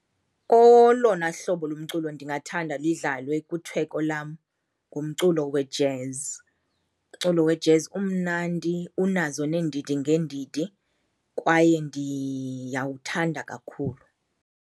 Olona hlobo lomculo ndingathanda lidlalwe kwitheko lam ngumculo wejezi. Umculo wejezi umnandi, unazo neendidi ngeendidi kwaye ndiyawuthanda kakhulu.